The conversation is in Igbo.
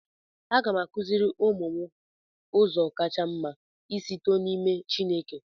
Aga m akụziri ụmụ m ụzọ kacha mma isi too na n'ime Chineke